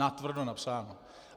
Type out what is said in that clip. Natvrdo napsáno.